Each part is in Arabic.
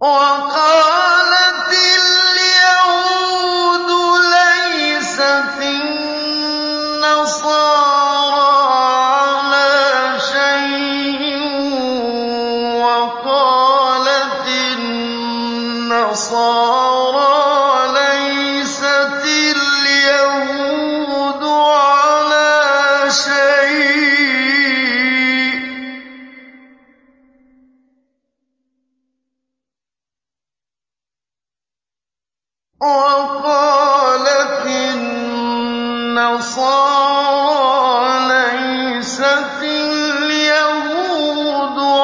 وَقَالَتِ الْيَهُودُ لَيْسَتِ النَّصَارَىٰ عَلَىٰ شَيْءٍ وَقَالَتِ النَّصَارَىٰ لَيْسَتِ الْيَهُودُ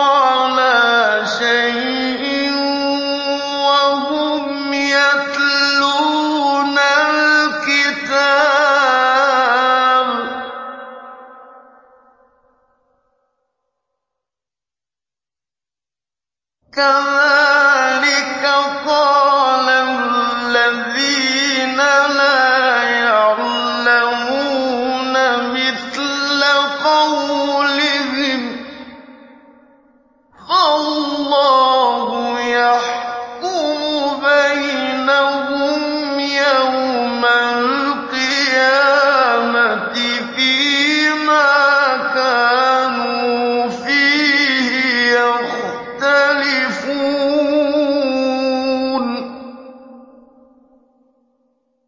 عَلَىٰ شَيْءٍ وَهُمْ يَتْلُونَ الْكِتَابَ ۗ كَذَٰلِكَ قَالَ الَّذِينَ لَا يَعْلَمُونَ مِثْلَ قَوْلِهِمْ ۚ فَاللَّهُ يَحْكُمُ بَيْنَهُمْ يَوْمَ الْقِيَامَةِ فِيمَا كَانُوا فِيهِ يَخْتَلِفُونَ